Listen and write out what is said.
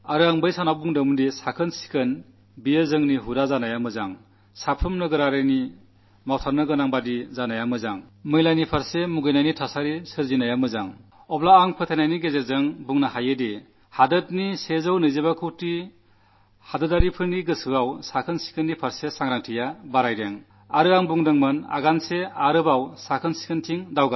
ശുചിത്വം നമ്മുടെ സ്വഭാവമാകണമെന്നും എല്ലാ പൌരന്മാരുടെയും കർത്തവ്യമാകണമെന്നും മാലിന്യത്തോട് വെറുപ്പെന്ന അന്തരീക്ഷം രൂപപ്പെടണമെന്നും അന്നു ഞാൻ പറഞ്ഞിരുന്നു ഇപ്പോൾ ഓക്ടോബർ രണ്ടിന് രണ്ടു വർഷമാകാൻ പോകുമ്പോൾ നാട്ടിലെ നൂറ്റിഇരുപത്തിയഞ്ചുകോടി ജനങ്ങളുടെ മനസ്സിൽ ശുചിത്വകാര്യത്തിൽ ഉണർവുണ്ടായിട്ടുണ്ട് എന്നെനിക്ക് ഉറപ്പിച്ചു പറയാൻ സാധിക്കും